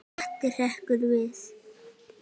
Matti hrekkur við.